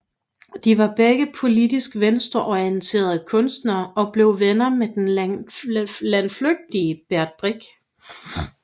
De var begge politisk venstreorienterede kunstnere og blev venner med den landflygtige Bert Brecht